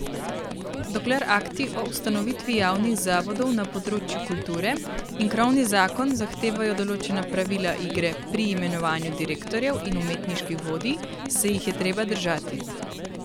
Dokler akti o ustanovitvi javnih zavodov na področju kulture in krovni zakon zahtevajo določena pravila igre pri imenovanju direktorjev in umetniških vodij, se jih je treba držati.